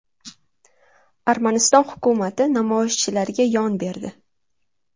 Armaniston hukumati namoyishchilarga yon berdi.